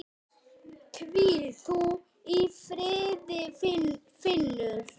Hvíl þú í friði Finnur.